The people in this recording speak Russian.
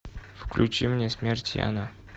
включи мне смерть яна